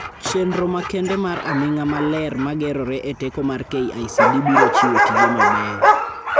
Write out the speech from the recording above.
Chendro makende mar aming'a maler magerore e teko mar KICD biro chiwo tije mabeyo.